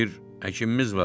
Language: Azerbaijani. Bir həkimimiz vardı.